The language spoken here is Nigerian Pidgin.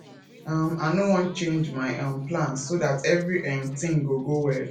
um i no wan change my um plans so dat every um thing go go well